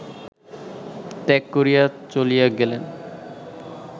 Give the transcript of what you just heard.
ত্যাগ করিয়া চলিয়া গেলেন